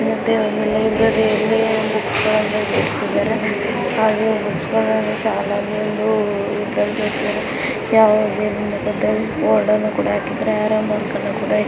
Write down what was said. board ಅನ್ನು ಕೂಡಾ ಹಾಕಿದ್ದಾರೆ ಆರೋ ಮಾರ್ಕ್ನ್ನ --